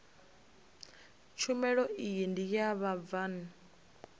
tshumelo iyi ndi ya vhabvann